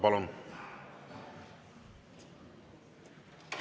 Palun!